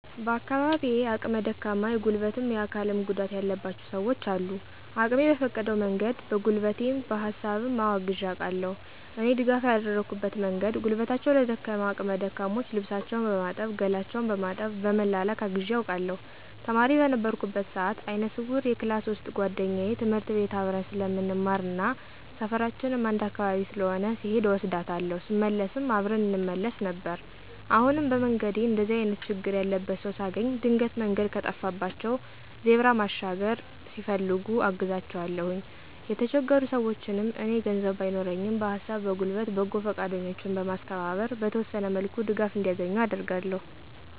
በአካባቢየ አቅመ ደካማ የጉልበትም የአካልም ጉዳትም ያለባቸው ሰውች አሉ። አቅሜ በፈቀደው መንገድ በጉልበቴ በሀሳብም አወ አግዤ አውቃለሁ። እኔ ድጋፍ ያደረኩበት መንገድ ጉልበታቸው ለደከመ አቅመ ደካሞች ልብሳቸውን በማጠብ ገላቸውን በማጠብ በመላላክ አግዤ አውቃለሁ። ተማሪ በነበርኩበት ሰአት አይነ ስውር የክላስ ውሰጥ ጉዋደኛየ ትምህርት ቤት አብረን ስለምንማርና ሰፈራችንም አንድ አካባቢ ስለሆነ ስሔድ እወስዳታለሁ ስመለስም አብረን እንመለስ ነበር። አሁንም በመንገዴ እንደዚህ አይነት ችግር ያለበት ሰው ሳገኝ ድንገት መንገድ ከጠፋባቸው ዜብራ መሻገር ሲፈልጉ አግዛቸዋለሁኝ። የተቸገሩ ሰውችንም እኔ ገንዘብ ባይኖረኝም በሀሳብ በጉልበት በጎ ፈቃደኞችን በማስተባበር በተወሰነ መልኩ ድጋፍ እንዲያገኙ አደርጋለሁ።